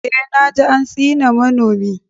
Eh, na ji an tsine manomi.